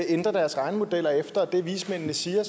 ændre deres regnemodeller efter det vismændene siger